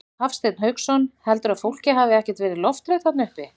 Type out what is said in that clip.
Hafsteinn Hauksson: Heldurðu að fólkið hafi ekkert verið lofthrætt þarna uppi?